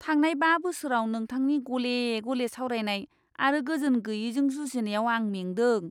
थांनाय बा बोसोराव नोंथांनि गले गले सावरायनाय आरो गोजोन गैयैजों जुजिनायाव आं मेंदों।